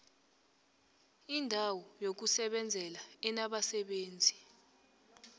indawo yokusebenzela enabasebenzi